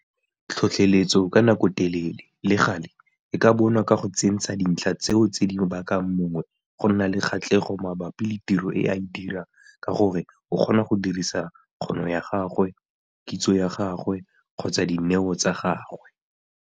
Tlhotlheletso ka nakotelele, le gale, e ka bonwa ka go tsentsha dintlha tseo tse di bakang mongwe go nna le kgatlhego mabapi le tiro e a e dirang ka gore o kgona go dirisa kgono ya gagwe, kitso ya gagwe kgotsa dineo tsa gagwe.